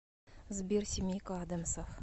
сбер семейка адамсов